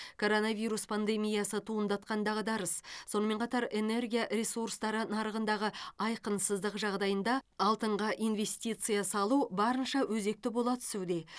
коронавирус пандемиясы туындатқан дағдарыс сонымен қатар энергия ресурстары нарығындағы айқынсыздық жағдайында алтынға инвестиция салу барынша өзекті бола түсуде